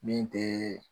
Min tɛ